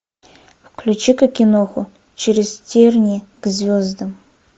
включи ка киноху через тернии к звездам